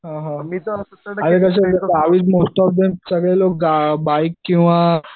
हा हा सगळे लोक बाईक किंवा